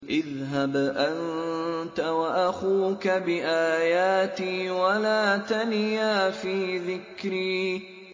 اذْهَبْ أَنتَ وَأَخُوكَ بِآيَاتِي وَلَا تَنِيَا فِي ذِكْرِي